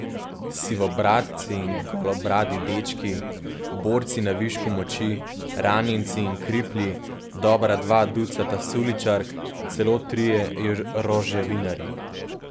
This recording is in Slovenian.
Sivobradci in golobradi dečki, borci na višku moči, ranjenci in kriplji, dobra dva ducata suličark, celo trije Roževinarji.